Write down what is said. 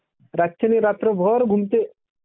रातच्याल्ये रात्रभर घुमते..